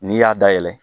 N'i y'a dayɛlɛ